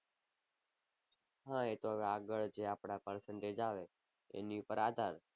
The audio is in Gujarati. હા એ તો હવે આગળ જે આપડા percentage આવે એની ઉપર આધાર.